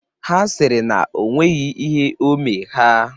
Ha sịrị na o nweghi ihe o omee ha.